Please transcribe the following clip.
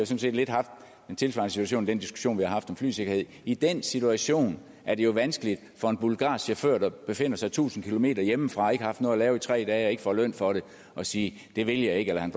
set lidt haft den tilsvarende situation i den diskussion vi har haft om flysikkerhed i den situation er det jo vanskeligt for en bulgarsk chauffør der befinder sig tusind km hjemmefra og ikke har haft noget at lave i tre dage og ikke får løn for det at sige det vil jeg ikke eller han